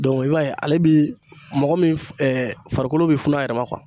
i b'a ye ale bi mɔgɔ min farikolo be funun a yɛrɛ ma